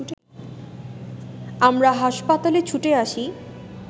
আমরা হাসপাতালে ছুটে আসি